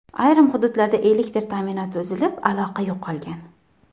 Ayrim hududlarda elektr ta’minoti uzilib, aloqa yo‘qolgan .